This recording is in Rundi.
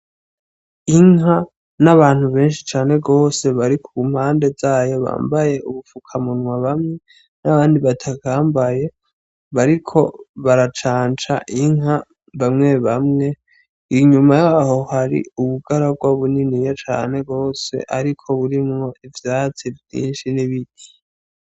Inka n'abantu benshi cane gose bari ku mpande z'ayo bambaye ubupfukamunwa bamwe n'abandi batabwambaye, bariko baracanca inka bamwe bamwe. Inyuma y'aho hari ubugaragwa buniniya cane gose ariko burimwo ivyatsi vyinshi n'ibiti.